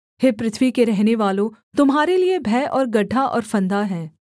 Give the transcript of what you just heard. हे पृथ्वी के रहनेवालों तुम्हारे लिये भय और गड्ढा और फंदा है